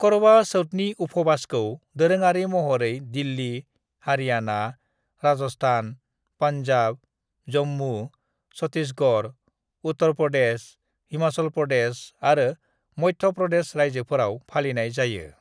"करवा चौथनि उफुबासखौ दोरोङारि महरै दिल्ली, हरियाना, राजस्थान, पनजाब, जम्मु, छत्तीसगढ़, उत्तर प्रदेश, हिमाचल प्रदेश आरो मध्य प्रदेश रायजोफोराव फालिनाय जायो।"